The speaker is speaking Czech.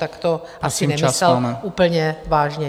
Tak to asi nemyslel úplně vážně.